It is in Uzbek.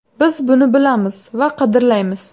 Biz buni bilamiz va qadrlaymiz.